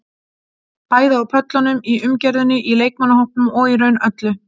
Bæði á pöllunum, í umgjörðinni, í leikmannahópnum og í raun öllu.